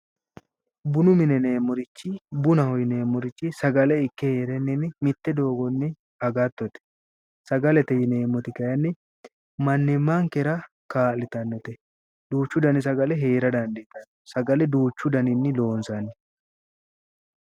Bunu mine yineemmorichi bunaho yineemorichi sagale Ikke heerenni mitte doogonni agattote, sagalete yineemmoti kayiinni mannimankera kaalitannote, duuchu dani sagale heera danidiitanno, sagale duuchu daninni loonsanni